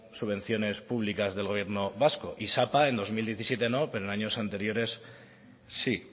subvenciones públicas del gobierno vasco y sapa en dos mil diecisiete no pero en años anteriores sí